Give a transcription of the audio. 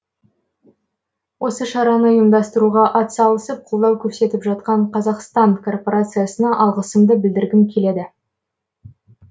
осы шараны ұйымдастыруға атсалысып колдау көрсетіп жатқан қазақстан корпорациясына алғысымды білдіргім келеді